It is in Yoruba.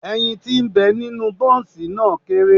Ẹyin ti ń bẹ nínú Bọ́ǹsì náà kéré.